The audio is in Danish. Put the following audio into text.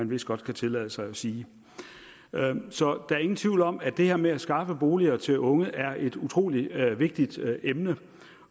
vist godt kan tillade os at sige så der er ingen tvivl om at det her med at skaffe boliger til unge er et utrolig vigtigt emne